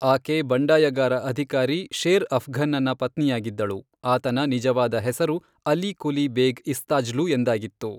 ಆಕೆ ಬಂಡಾಯಗಾರ ಅಧಿಕಾರಿ ಶೇರ್ ಅಫ್ಘನ್ನನ ಪತ್ನಿಯಾಗಿದ್ದಳು, ಆತನ ನಿಜವಾದ ಹೆಸರು ಅಲಿ ಕುಲಿ ಬೇಗ್ ಇಸ್ತಾಜ್ಲು ಎಂದಾಗಿತ್ತು.